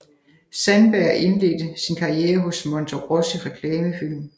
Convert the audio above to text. Sandberg og indledte sin karriere hos Monterossi Reklamefilm